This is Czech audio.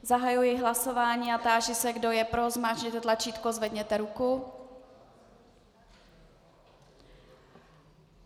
Zahajuji hlasování a táži se, kdo je pro, zmáčkněte tlačítko, zvedněte ruku.